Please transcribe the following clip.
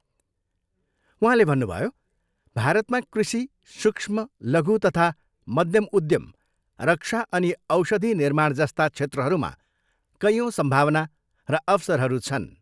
उहाँले भन्नुभयो, भारतमा कृषि, सूक्ष्म, लघु तथा मध्यम उद्यम, रक्षा अनि औषधि निर्माण जस्ता क्षेत्रहरूमा कैयौँ सम्भावना र अवसरहरू छन्।